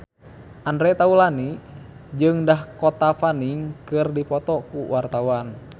Andre Taulany jeung Dakota Fanning keur dipoto ku wartawan